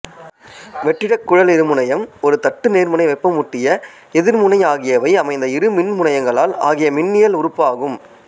வெற்றிடக் குழல் இருமுனையம் ஒரு தட்டு நேர்முனை வெப்பமூட்டிய எதிர்முனை ஆகியவை அமைந்த இரு மின்முனையங்களால் ஆகிய மின்னனியல் உறுப்பாகும்